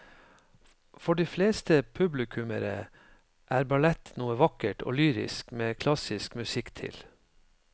For de fleste publikummere er ballett noe vakkert og lyrisk med klassisk musikk til.